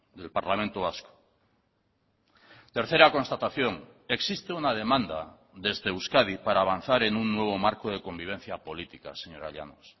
del parlamento vasco tercera constatación existe una demanda desde euskadi para avanzar en un nuevo marco de convivencia política señora llanos